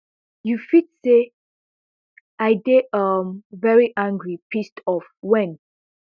you fit say i dey um very angry pissed off wen